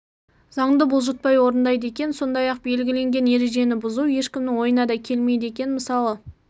заңды бұлжытпай орындайды екен сондай-ақ белгіленген ережені бұзу ешкімнің ойына да келмейді екен мысалы